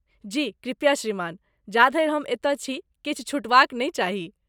जी, कृपया श्रीमान, जाधरि हम एतऽ छी, किछु छूटबाक नहि चाही।